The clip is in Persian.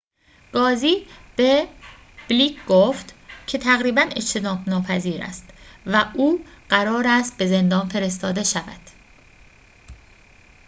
قاضی به بلیک گفت که تقریباً اجتناب‌ناپذیر است و او قرار است به زندان فرستاده شود